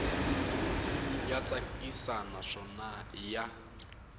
ya tsakisa naswona i ya